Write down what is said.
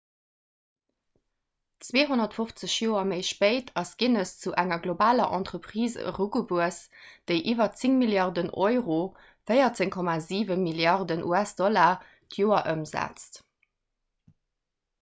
250 joer méi spéit ass guinness zu enger globaler entreprise erugewuess déi iwwer 10 milliarden euro 14,7 milliarden us-dollar d'joer ëmsetzt